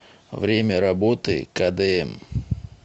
время работы кдм